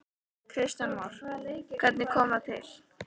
Kristján Már: Hvernig kom það til?